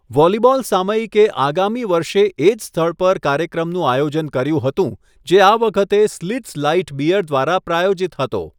Volleyball સામયિકે આગામી વર્ષે એ જ સ્થળ પર કાર્યક્રમનું આયોજન કર્યું હતું, જે આ વખતે સ્લિત્ઝ લાઇટ બિયર દ્વારા પ્રાયોજિત હતો.